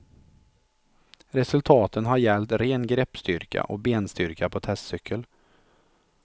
Resultaten har gällt ren greppstyrka och benstyrka på testcykel.